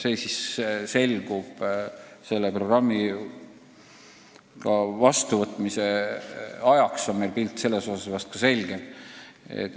See selgub peagi – programmi vastuvõtmise ajaks on meil pilt ka selles osas vahest selge.